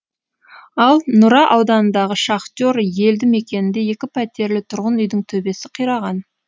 ал нұра ауданындағы шахтер елді мекенінде екі пәтерлі тұрғын үйдің төбесі қираған